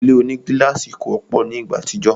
Ile onigílàsì kò wọ́pọ̀ ni ìgbà àtijọ́